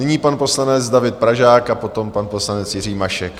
Nyní pan poslanec David Pražák a potom pan poslanec Jiří Mašek.